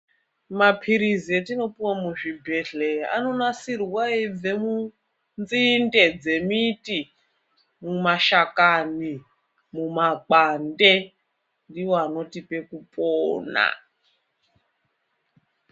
Maphirizi etinopuwa muzvibhedhlera anonasirwa eibva munzinde dzemiti, mumashakani, mumakwande, ndiwo anotipe kupona.